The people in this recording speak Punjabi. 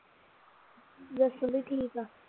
ਜੱਸੂ ਵੀ ਠੀਕ ਆ